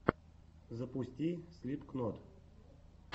запусти слипкнот